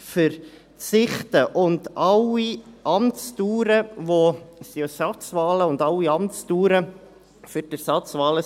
Alle Amtsdauern, und es sind ja alles Ersatzwahlen, laufen bis Ende 2022.